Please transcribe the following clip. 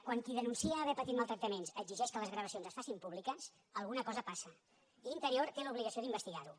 quan qui denuncia haver patit maltractaments exigeix que les gravacions es facin pú·bliques alguna cosa passa i interior té l’obligació d’in·vestigar·ho